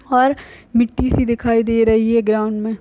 --और मिट्टी सी दिखाई दे रही हैं ग्राउन्ड में।